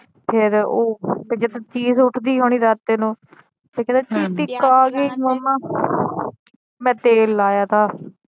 ਫਿਰ ਉਹ ਤੇ ਚੀਸ ਉੱਠਦੀ ਹੋਣੀ ਰਾਤ ਇਹਨੂੰ ਤੇ ਕਹਿੰਦਾ ਚੀਟੀ ਖਾ ਗਈ ਮੰਮਾ ਮੈ ਤੇਲ ਲਾਇਆ ਤਾ